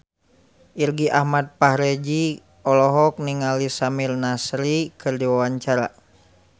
Irgi Ahmad Fahrezi olohok ningali Samir Nasri keur diwawancara